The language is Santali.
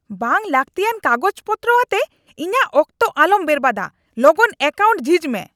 ᱵᱟᱝ ᱞᱟᱹᱠᱛᱤᱭᱟᱱ ᱠᱟᱜᱚᱡ ᱯᱚᱛᱨᱚ ᱟᱛᱮ ᱤᱧᱟᱜ ᱚᱠᱛᱚ ᱟᱞᱚᱢ ᱵᱚᱨᱵᱟᱫᱼᱟ ᱾ ᱞᱚᱜᱚᱱ ᱮᱠᱟᱣᱩᱱᱴ ᱡᱷᱤᱡ ᱢᱮ ᱾